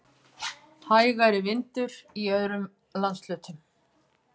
Hægari vindur í öðrum landshlutum